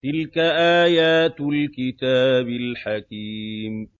تِلْكَ آيَاتُ الْكِتَابِ الْحَكِيمِ